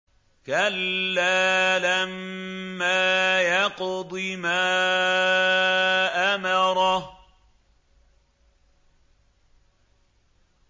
كَلَّا لَمَّا يَقْضِ مَا أَمَرَهُ